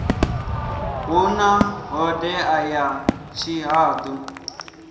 hu na ṱhodea ya tshihaḓu